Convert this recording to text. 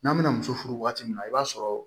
N'an bɛna muso furu waati min na i b'a sɔrɔ